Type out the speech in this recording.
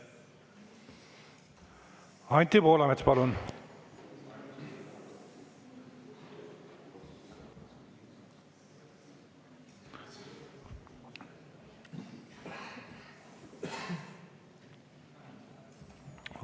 Anti Poolamets, palun!